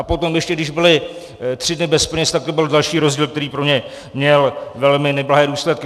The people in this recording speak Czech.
A potom ještě když byli tři dny bez peněz, tak to byl další rozdíl, který pro ně měl velmi neblahé důsledky.